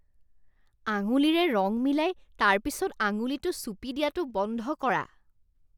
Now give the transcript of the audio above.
আঙুলিৰে ৰং মিলাই তাৰপিছত আঙুলিটো চুপি দিয়াটো বন্ধ কৰা।